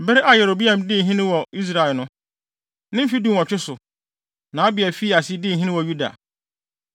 Bere a Yeroboam dii hene wɔ Israel no, ne mfe dunwɔtwe so, na Abia fii ase dii hene wɔ Yuda.